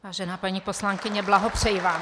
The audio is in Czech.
Vážená paní poslankyně, blahopřeji vám.